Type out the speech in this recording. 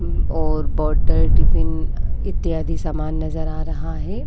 मं और बोतल टिफिन इत्यादि समान नज़र आ रहा है।